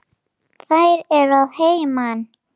Þær eru að heiman.